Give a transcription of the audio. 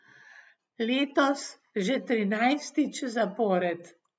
Letos že trinajstič zapored.